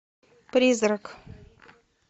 призрак